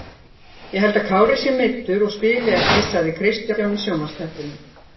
Ég held að Kári sé meiddur og spili ekki sagði Kristján í sjónvarpsþættinum.